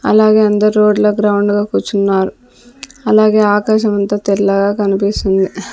అలాగే అందర్ రోడ్ల గ్రౌండుగా కూర్చున్నారు అలాగే ఆకాశమంత తెల్లగా కనిపిస్తుంది.